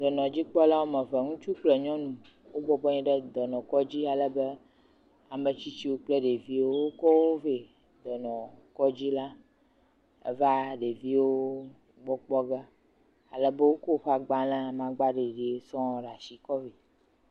Dɔnɔdzikpɔla woame eve, ŋutsu kple nyɔnu wobɔbɔ nɔ anyi ɖe dɔnɔkɔdzi ale be ame tsitsiwo kple ɖeviwo wokɔ wo vɛ dɔnɔkɔdzi la eva ɖeviwo gbɔ kpɔge ale be wokɔ woƒe agbalẽ amagbaɖiɖi sɔ̃ɔ ɖe asi kɔ vɛ.